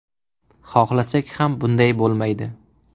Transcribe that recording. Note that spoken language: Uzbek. Xohlasak ham bunday bo‘lmaydi.